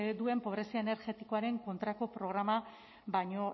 duen pobrezia energetikoaren kontrako programa baino